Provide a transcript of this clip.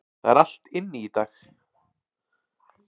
Það er allt inni í dag.